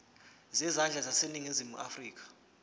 zezandla zaseningizimu afrika